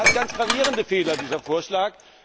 Und er hat ganz gravierende Fehler, dieser Vorschlag.